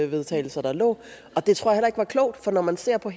vedtagelser der lå og det tror jeg heller ikke var klogt for når man ser på